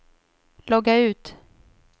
logga ut